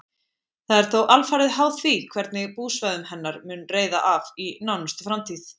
Það er þó alfarið háð því hvernig búsvæðum hennar mun reiða af í nánustu framtíð.